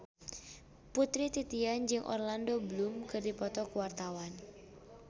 Putri Titian jeung Orlando Bloom keur dipoto ku wartawan